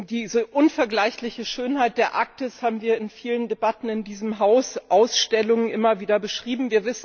Diese unvergleichliche Schönheit der Arktis haben wir in vielen Debatten in diesem Haus, auch in Ausstellungen, immer wieder beschrieben.